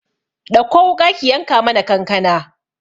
Ɗakko wuƙa ki yanka mana kankana